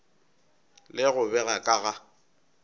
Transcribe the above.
le go bega ka ga